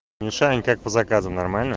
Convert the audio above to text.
мишань как по заказам нормально